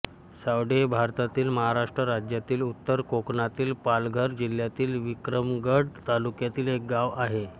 सावडे हे भारतातील महाराष्ट्र राज्यातील उत्तर कोकणातील पालघर जिल्ह्यातील विक्रमगड तालुक्यातील एक गाव आहे